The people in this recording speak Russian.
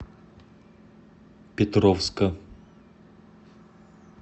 петровска